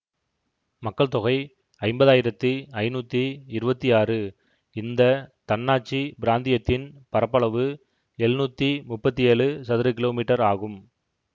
மக்கள் தொகை ஐம்பதாயிரத்தி ஐநூத்தி இருவத்தி ஆறு இந்த தன்னாட்சி பிராந்தியத்தின் பரப்பளவு எழுநூத்தி முப்பத்தி ஏழு சதுர கிலோமீட்டர் ஆகும்